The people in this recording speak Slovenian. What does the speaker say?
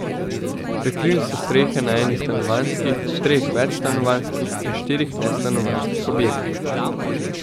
Prekrili so strehe na eni stanovanjski, treh večstanovanjskih in štirih nestanovanjskih objektih.